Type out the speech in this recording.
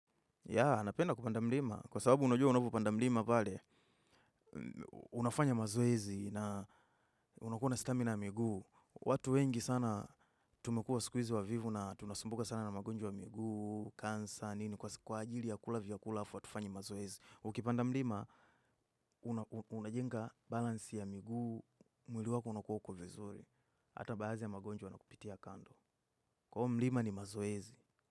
Ya, napenda kupanda mlima. Kwa sababu unajua unapopanda mlima pale, unafanya mazoezi na unakuwa na stamina ya miguu. Watu wengi sana tumekuwa siku hizi wavivu na tunasumbuka sana na magonjwa ya miguu, kansa, nini, kwa ajili ya kula vyakula halafu, hatufanyi mazoezi. Ukipanda mlima, unajenga balansi ya miguu, mwili wako unakuwa uko vizuri. Hata baadhi ya magonjwa yanakupitia kando. Kwa hiyo mlima ni mazoezi.